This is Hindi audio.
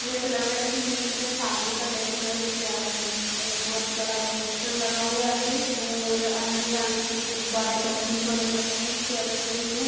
ये ऐसा लग रहा है जैसे किसी के शादी का डेकोरेट किया गया है| एक बोहोत बड़ा पोस्टर लगा हुआ है और अंदर जाने के लिए गुब्बारे बलून्स वगैरह लगे हुए हैं | एक चेयर रखी हुई है।